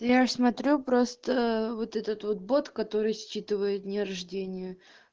я смотрю просто вот этот бот который считывает дни рождения